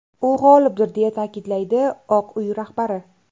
U g‘olibdir”, deya ta’kidlaydi Oq uy rahbari.